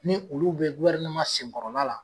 Ni olu bɛ nsenkɔrɔla la